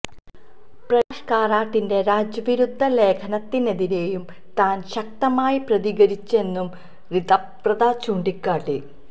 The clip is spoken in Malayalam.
പ്രകാശ് കാരാട്ടിന്റെ രാജ്യ വിരുദ്ധ ലേഖനത്തിനെതിരെയും താൻ ശക്തമായി പ്രതികരിച്ചെന്നും റിതബ്രത ചൂണ്ടിക്കാട്ടി